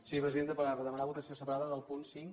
sí presidenta per demanar votació separada del punt cinc